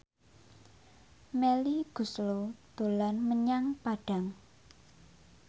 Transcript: Melly Goeslaw dolan menyang Padang